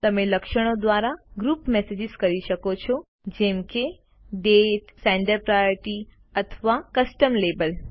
તમે લક્ષણો દ્વારા ગ્રુપમાં મેસેજીસ કરી શકો છો જેમ કે દાતે senderપ્રાયોરિટી અથવા કસ્ટમ લાબેલ